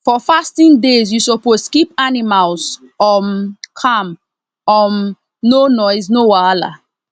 for fasting days you suppose keep animals um calm um no noise no wahala